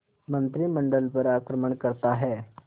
मंत्रिमंडल पर आक्रमण करता है